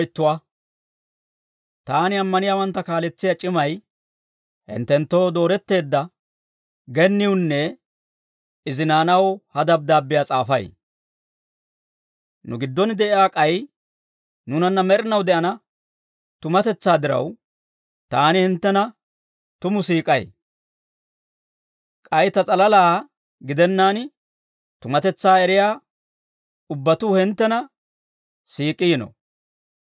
Taani ammaniyaawantta kaaletsiyaa c'imay, hinttenttoo, dooretteedda genniwunne izi naanaw ha dabddaabbiyaa s'aafay; nu giddon de'iyaa k'ay nuunanna med'inaw de'ana tumatetsaa diraw, taani hinttena tumu siik'ay. K'ay ta s'alalaa gidennaan, tumatetsaa eriyaa ubbatuu hinttena siik'iino.